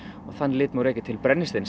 þann lit má rekja til brennisteins